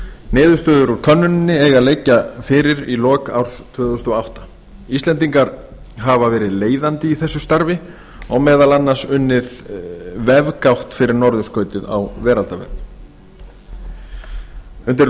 niðurstöður úr könnuninni eiga að liggja fyrir í lok árs tvö þúsund og átta íslendingar hafa verið leiðandi í þessu starfi og meðal annars unnið vefgátt fyrir norðurskautið á veraldarvefnum undir